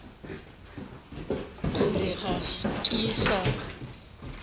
ke re ga ke sa